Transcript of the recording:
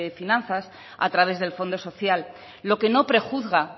finanzas a través del fondo social lo que no prejuzga